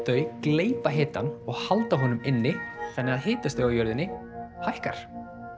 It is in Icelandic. þau gleypa hitann og halda honum inni þannig að hitastigið á jörðinni hækkar